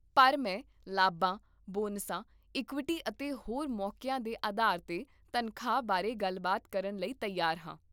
ਪਰ ਮੈਂ ਲਾਭਾਂ, ਬੋਨਸਾਂ, ਇਕੁਇਟੀ, ਅਤੇ ਹੋਰ ਮੌਕੀਆਂ ਦੇ ਅਧਾਰ 'ਤੇ ਤਨਖਾਹ ਬਾਰੇ ਗੱਲਬਾਤ ਕਰਨ ਲਈ ਤਿਆਰ ਹਾਂ